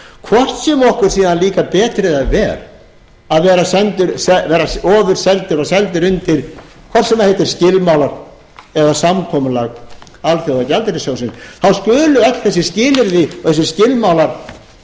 hvort sem okkur síðan líkar betur eða verr að vera ofurseldir og seldir undir hvort sem það heitir skilmálar eða samkomulag alþjóðagjaldeyrissjósðosn þá skulu öll þessi skilyrði og skilmálar vera uppi